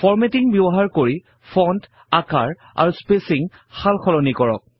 formatting ব্যৱহাৰ কৰি font আকাৰ আৰু স্পেচিঙৰ সালসলনি কৰক